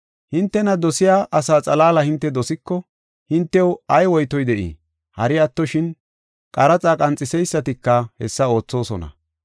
Hintena dosiya asaa xalaala hinte dosiko, hintew ay woytoy de7ii? Hari attoshin, qaraxa qanxiseysatika hessa oothosona.